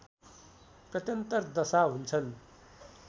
प्रत्यन्तर दशा हुन्छन्